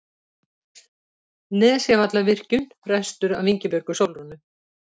Nesjavallavirkjun ræstur af Ingibjörgu Sólrúnu